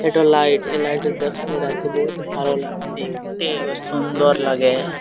এটা লাইট । এ লাইট এ দেখলে রাতে বহোত ভালো লাগে দেখতে এবং সুন্দর লাগে।